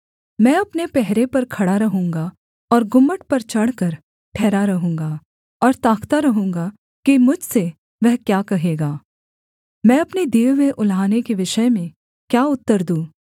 मैं अपने पहरे पर खड़ा रहूँगा और गुम्मट पर चढ़कर ठहरा रहूँगा और ताकता रहूँगा कि मुझसे वह क्या कहेगा मैं अपने दिए हुए उलाहने के विषय में क्या उत्तर दूँ